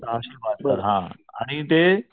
सहाशे बहात्तर आणि ते